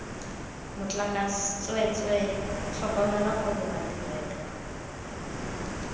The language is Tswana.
motlakase tsweetswe tlhokomela gore badirelwa